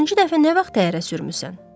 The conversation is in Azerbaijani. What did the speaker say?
Axırıncı dəfə nə vaxt təyyarə sürmüsən?